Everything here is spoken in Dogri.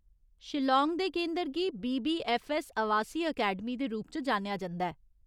शिलांग दे केंदर गी बीबीऐफ्फऐस्स आवासी अकैडमी दे रूप च जानेआ जंदा ऐ।